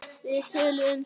Við töluðum saman.